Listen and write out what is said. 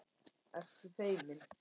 Ertu feimin?